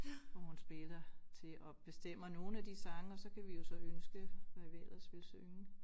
Og hun spiller til og bestemmer nogle af de sange og så kan vi jo så ønske hvad vi ellers vil synge